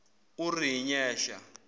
urinyesha